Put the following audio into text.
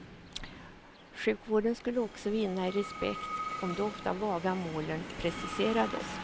Sjukvården skulle också vinna i respekt om de ofta vaga målen preciserades.